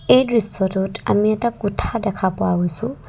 এই দৃশ্যটোত আমি এটা কোঠা দেখা পোৱা হৈছোঁ।